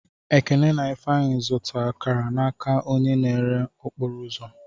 Ekene na Ifeanyi zụta akara n'aka onye na-ere okporo ụzọ.